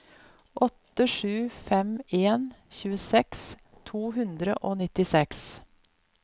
åtte sju fem en tjueseks to hundre og nittiseks